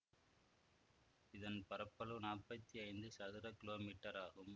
இதன் பரப்பளவு நாப்பத்தி ஐந்து சதுர கிலோமீட்டர் ஆகும்